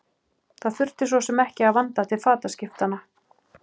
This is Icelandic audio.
Það þurfti svo sem ekki að vanda til fataskiptanna.